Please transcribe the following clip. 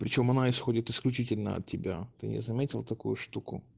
причём она исходит исключительно от тебя ты не заметил такую штуку